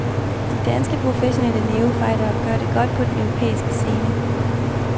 De danske professionelle nævefightere gør det godt på den europæiske scene.